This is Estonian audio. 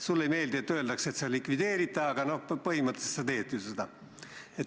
Sulle ei meeldi, kui sulle öeldakse, et sa likvideerid ta, aga põhimõtteliselt sa teed ju seda.